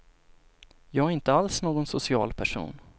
Jag är inte alls någon social person.